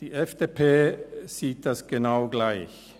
Die FDP sieht das genau gleich.